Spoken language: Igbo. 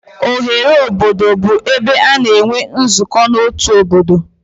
Oghere obodo bụ ebe a na-enwe nzukọ n'otu obodo.